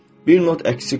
Bir not əksik olur.